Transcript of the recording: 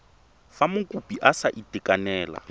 fa mokopi a sa itekanela